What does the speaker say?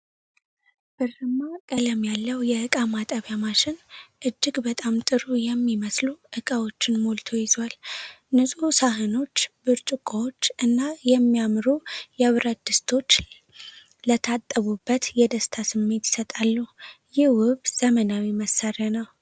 ብርማ ቀለም ያለው የእቃ ማጠቢያ ማሽን እጅግ በጣም ጥሩ የሚመስሉ ዕቃዎችን ሞልቶ ይዟል። ንጹህ ሳህኖች፣ ብርጭቆዎች እና የሚያምሩ የብረት ድስቶች ለታጠቡበት የደስታ ስሜት ይሰጣሉ። ይህ ውብ ዘመናዊ መሣሪያ ነው።